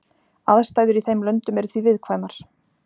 Aðstæður í þeim löndum eru því viðkvæmar.